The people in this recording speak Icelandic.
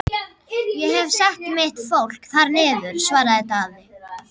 Ég hef sett mitt fólk þar niður, svaraði Daði.